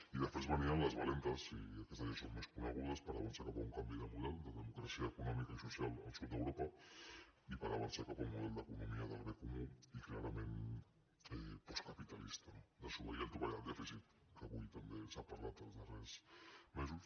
i després venien les valentes i aquestes ja són més conegudes per avançar cap a un canvi de model de democràcia econòmica i social al sud d’europa i per avançar cap a un model d’economia del bé comú i clarament postcapitalista no desobeir el topall del dèficit que avui també s’ha parlat els darrers mesos